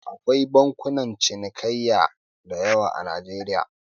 Akwai bankunan cinikayya da yawa a Najeriya.